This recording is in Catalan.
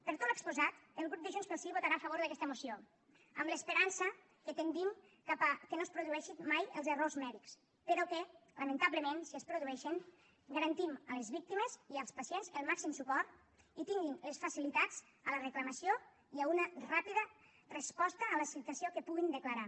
per tot l’exposat el grup de junts pel sí votarà a favor d’aquesta moció amb l’esperança que tendim cap al fet que no es produeixin mai els errors mèdics però que lamentablement si es produeixen garantim a les víctimes i als pacients el màxim suport i tinguin les facilitats en la reclamació i una ràpida resposta a la situació que puguin declarar